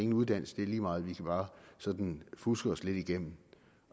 uddannelse det er lige meget vi kan bare sådan fuske os lidt igennem